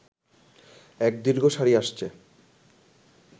এক দীর্ঘ সারি আসছে